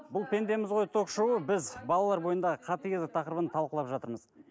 бұл пендеміз ғой ток шоуы біз балалар бойындағы қатыгездік тақырыбын талқылап жатырмыз